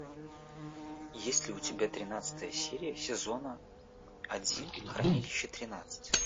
есть ли у тебя тринадцатая серия сезона один хранилище тринадцать